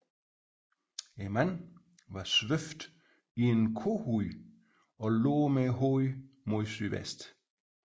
Manden var svøbt i en kohud og lå med hovedet mod sydvest